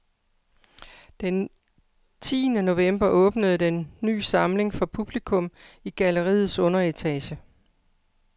Den tiende november åbner den ny samling for publikum i galleriets underetage.